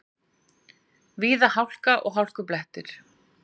Víða hálka og hálkublettir